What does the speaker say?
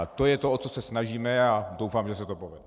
A to je to, o co se snažíme, a doufám, že se to povede.